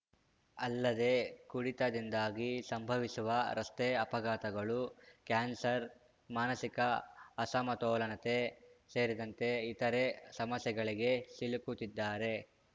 ಅಲ್ಲದೆ ಕುಡಿತದಿಂದಾಗಿ ಸಂಭವಿಸುವ ರಸ್ತೆ ಅಪಘಾತಗಳು ಕ್ಯಾನ್ಸರ್‌ ಮಾನಸಿಕ ಅಸಮತೋಲನತೆ ಸೇರಿದಂತೆ ಇತರೆ ಸಮಸ್ಯೆಗಳಿಗೆ ಸಿಲುಕುತ್ತಿದ್ದಾರೆ